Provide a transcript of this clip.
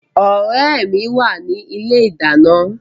Ọ̀rẹ́ mi wà ní ilé ìdáná